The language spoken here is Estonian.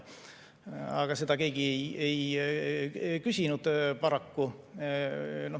Aga seda keegi ei küsinud paraku.